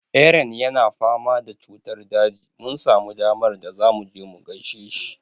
Eran yana fama da cutar daji. Mun samu damar da zamu je mu gaishe shi.